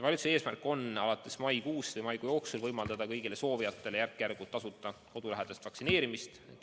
Valitsuse eesmärk on maikuu jooksul võimaldada kõigile soovijatele järk-järgult tasuta kodulähedast vaktsineerimist.